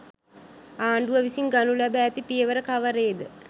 ආණ්ඩුව විසින් ගනු ලැබ ඇති පියවර කවරේද